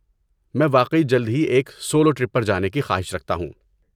میں واقعی جلد ہی ایک سولو ٹرپ پر جانے کی خواہش رکھتا ہوں۔